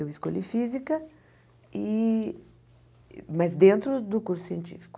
Eu escolhi física, e mas dentro do curso científico.